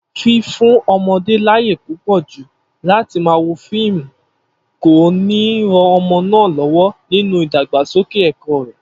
Fífún o̩mo̩dé láyè púpò̩ jù láti máa wo fíìmù kò ní ran o̩mo̩ náà ló̩wó̩ nínú ìdàgbàsókè è̩kó̩ rè̩